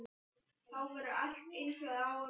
Þá verður allt eins og það á að vera.